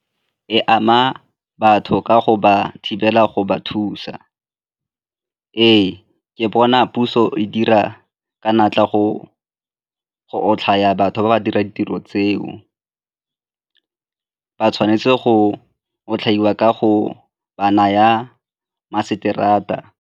E ama batho ka go ba thibela go ba thusa. Ee, ke bona puso e dira ka natla go otlhaya batho ba ba dirang ditiro tseo, ba tshwanetse go otlhaiwa ka go ba naya .